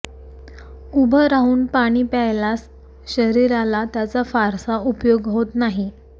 उभं राहून पाणी प्यायलास शरीराला त्याचा फारसा उपयोग होत नाही